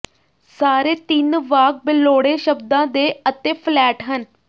ਸਾਰੇ ਤਿੰਨ ਵਾਕ ਬੇਲੋੜੇ ਸ਼ਬਦਾਂ ਦੇ ਅਤੇ ਫਲੈਟ ਹਨ